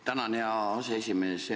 Tänan, hea aseesimees!